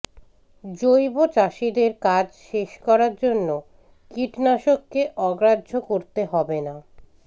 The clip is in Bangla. জৈব চাষিদের কাজ শেষ করার জন্য কীটনাশককে অগ্রাহ্য করতে হবে না